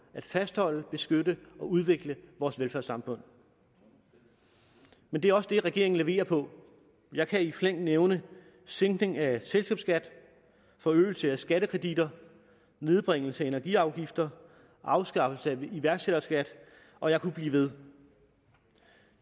at fastholde beskytte og udvikle vores velfærdssamfund men det er også det felt regeringen leverer på jeg kan i flæng nævne sænkning af selskabsskat forøgelse af skattekreditter nedbringelse af energiafgifter afskaffelse af iværksætterskat og jeg kunne blive ved